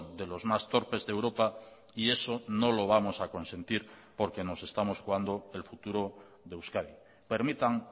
de los más torpes de europa y eso no lo vamos a consentir porque nos estamos jugando el futuro de euskadi permitan